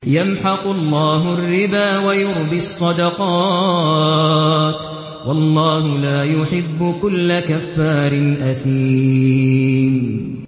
يَمْحَقُ اللَّهُ الرِّبَا وَيُرْبِي الصَّدَقَاتِ ۗ وَاللَّهُ لَا يُحِبُّ كُلَّ كَفَّارٍ أَثِيمٍ